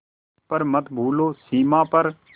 पर मत भूलो सीमा पर